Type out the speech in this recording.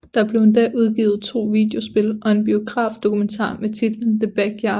Der blev endda udgivet to videospil og en biograf dokumentar med titlen The Backyard